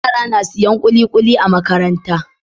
Yara na siyan kulikuli a Makaranta